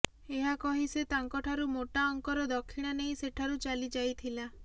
ଏହା କହି ସେ ତାଙ୍କଠାରୁ ମୋଟା ଅଙ୍କର ଦକ୍ଷିଣା ନେଇ ସେଠାରୁ ଚାଲିଯାଇଥିଲା